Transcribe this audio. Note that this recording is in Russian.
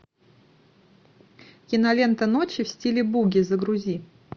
кинолента ночи в стиле буги загрузи